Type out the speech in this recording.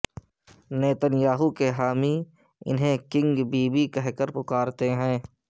Nitin Yahoo کے حامی انھیں کنگ بی بی کہہ پکارتے ہیں